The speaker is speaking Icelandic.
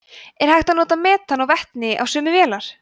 er hægt að nota metan og vetni á sömu vélar